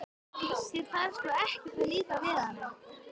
Þér þarf sko ekkert að líka við hana.